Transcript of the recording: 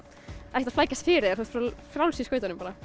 ekkert að flækjast fyrir þér þú ert bara frjáls í skautunum